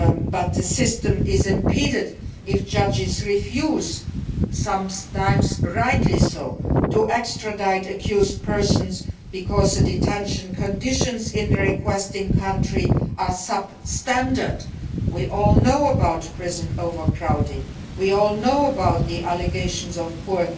But the system is impeded if judges refuse sometimes rightly so to extradite accused persons because the detention conditions in the requesting country are substandard. We all know about prison overcrowding and the allegations of poor